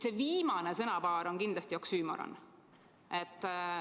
See viimane sõnapaar on kindlasti oksüümoron.